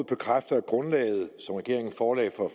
bekræfte at grundlaget som regeringen forelagde for